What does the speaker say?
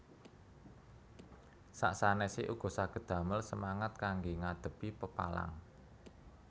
Sak sanèsé uga saged damel semangat kanggé ngadhepi pepalang